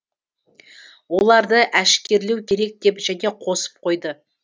оларды әшкерелеу керек деп және қосып қойды